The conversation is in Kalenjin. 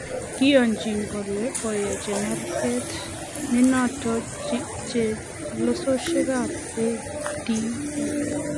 Kiyoni kole koyai chemarget nototon chelesosiek ab ADF